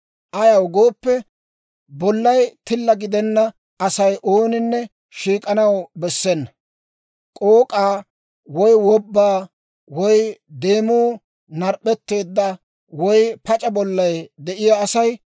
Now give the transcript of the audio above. Ayaw gooppe bollay tilla gidenna Asay ooninne shiik'anaw bessena. K'ook'a, woy wobba, woy demuu narp'p'etteedda, woy pac'a bollay de'iyaa asay,